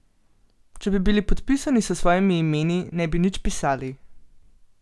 Če bi bili podpisani s svojimi imeni, ne bi nič pisali.